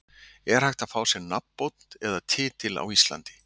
Er hægt að fá sér nafnbót eða titil á Íslandi?